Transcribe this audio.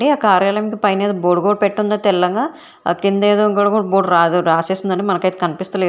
ఆ కార్యాలయంకి పైనేదో బోడుగుడ పెట్టుంది తెల్లంగా ఆ కింద ఏదో గుడ్గుడ్ బోడ్ రాసేసిందంది మనకైతే కనిపిస్త లేదు.